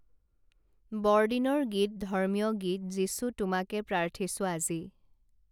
বৰদিনৰ গীত ধৰ্মীয় গীত যীচু তোমাকে প্ৰাৰ্থিছো আজি